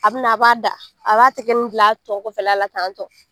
A bi na, a b'a da. A b'a tigɛ nin bila a tɔn kɔfɛla la tan tɔ.